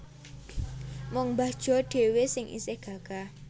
Mung mbah Jo dhewe sing isih gagah